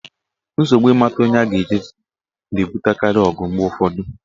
Nsogbu ịmata onye a ga-echi echichi na-ebutekarị ọgụ mgbe ụfọdụ.